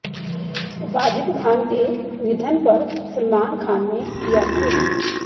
वाजिद खान के निधन पर सलमान खान ने किया ट्वीट